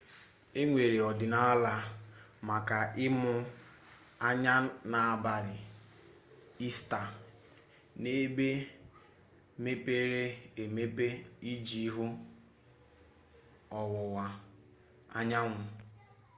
enwere ọdịnala maka ịmụ anya n'abalị ista n'ebe mepere emepe iji hụ ọwụwa anyanwụ